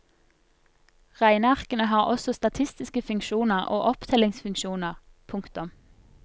Regnearkene har også statistiske funksjoner og opptellingsfunksjoner. punktum